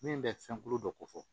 Min bɛ fɛn kolo dɔ ko fɔ